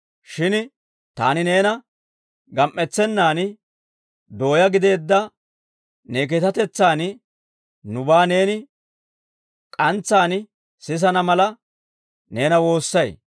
Shin taani neena gam"etsennaan, dooyaa gideedda ne keekatetsaan nubaa neeni k'antsaan sisana mala, neena woossay.